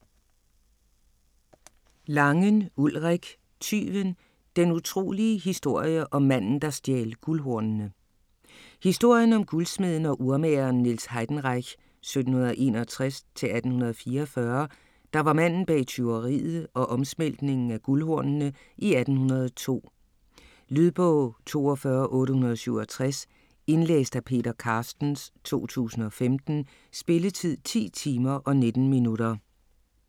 Langen, Ulrik: Tyven: den utrolige historie om manden, der stjal guldhornene Historien om guldsmeden og urmageren Niels Heidenreich (1761-1844), der var manden bag tyveriet og omsmeltningen af guldhornene i 1802. Lydbog 42867 Indlæst af Peter Carstens, 2015. Spilletid: 10 timer, 19 minutter.